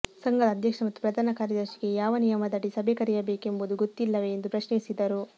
ಸಂಘದ ಅಧ್ಯಕ್ಷ ಮತ್ತು ಪ್ರಧಾನ ಕಾರ್ಯದರ್ಶಿಗೆ ಯಾವ ನಿಯಮದಡಿ ಸಭೆ ಕರೆಯಬೇಕೆಂಬುದು ಗೊತ್ತಿಲ್ಲವೆ ಎಂದು ಪ್ರಶ್ನಿಸಿದರು